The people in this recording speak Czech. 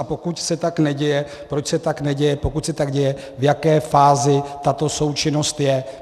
A pokud se tak neděje, proč se tak neděje, pokud se tak děje, v jaké fázi tato součinnost je?